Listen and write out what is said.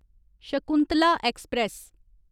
Shakuntala express